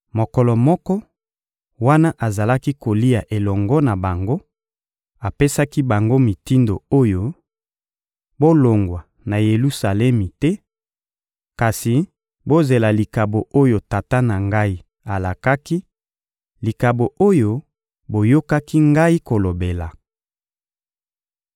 Mokolo moko, wana azalaki kolia elongo na bango, apesaki bango mitindo oyo: «Bolongwa na Yelusalemi te, kasi bozela likabo oyo Tata na Ngai alakaki, likabo oyo boyokaki Ngai kolobela.